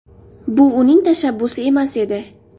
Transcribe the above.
Bu uning tashabbusi emas edi.